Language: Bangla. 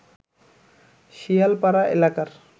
শিয়ালপাড়া এলাকার